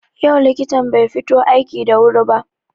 Yau likitan bai fito aiki da wuri ba.